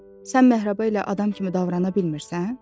Sən Məhribə ilə adam kimi davrana bilmirsən?